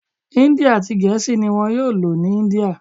Hindi ati gèésì ni wón yóò lò ní India